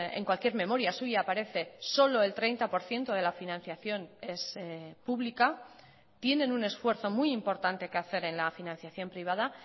en cualquier memoria suya aparece solo el treinta por ciento de la financiación es pública tienen un esfuerzo muy importante que hacer en la financiación privada